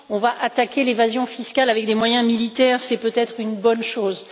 On va attaquer l'évasion fiscale avec des moyens militaires, c'est peut être une bonne chose.